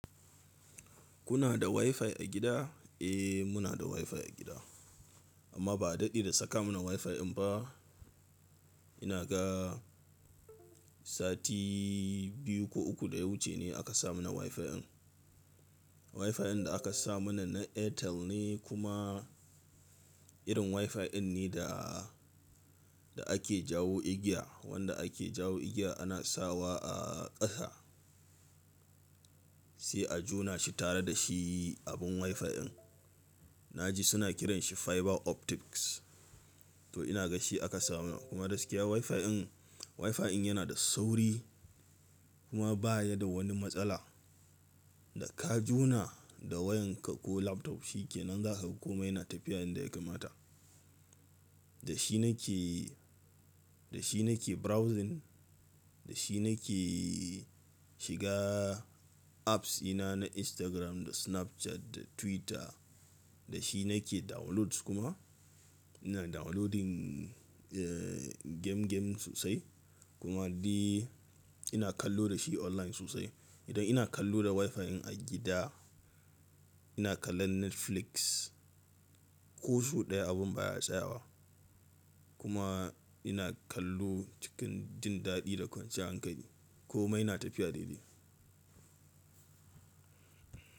Kuna da Wi-Fi a gida? Eh, muna da Wi-Fi a gida amma ba a daɗe da saka mana Wi-Fi ɗin ba. Ina ga sati biyu ko uku da ya wuce ne aka sa mana Wi-Fi ɗin. Wi-Fi ɗin da aka sa mana na Airtel ne kuma irin Wi-Fi ɗin ne da, da ake jawo igiya, wanda ake jawo igiya ana sawa a ƙasa, sai a jona shi tare da shi abin Wi-Fi ɗin. Na ji suna kiranshi fiber optics. To ina gashi aka sa mana kuma gaskiya Wi-Fi ɗin, Wi-Fi ɗin yana da sauri kuma baya da wani matsala. Da ka jona da wayanka ko laptop shikenan za ka ga komai yana tafiya yanda ya kamata. Da shi nake, da shi nake browsing, da shi nake shiga apps ina na Instagram, da Snapchat, da Twitter. Da shi nake downloads kuma. Ina downloading, eh, game game sosai kuma ni ina kallo da shi online sosai. Idan ina kallo da Wi-Fi ɗin a gida, ina kallon Netflix. Ko sau ɗaya abin baya tsayawa kuma ina kallo cikin jin daɗi da kwanciyan hankali. Komai yana tafiya daidai.